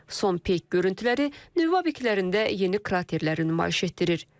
Son peyk görüntüləri nüvə obyektlərində yeni kraterləri nümayiş etdirir.